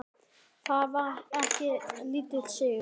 Það var ekki lítill sigur!